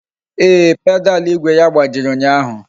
Ee, pedalu igwe ya gbajiri ụnyaahụ